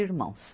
irmãos.